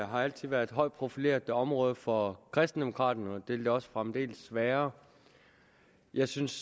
har altid været et højt profileret område for kristendemokraterne og vil det også fremdeles være jeg synes